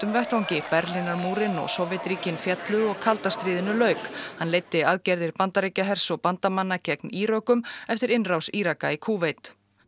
vettvangi Berlínarmúrinn og Sovétríkin féllu og kalda stríðinu lauk hann leiddi aðgerðir Bandaríkjahers og bandamanna gegn Írökum eftir innrás Íraka í Kúveit